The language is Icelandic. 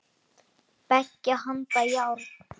Beggja handa járn.